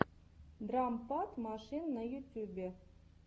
драм пад машин на ютюбе